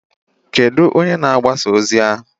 Kedụ onye na-agbasa ozi ahụ?